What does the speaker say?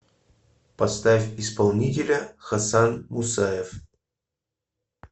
поставь исполнителя хасан мусаев